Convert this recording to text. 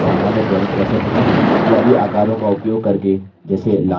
इस tutorial में हमने सीखा कि सामान्य drawings कैसे बनाएँ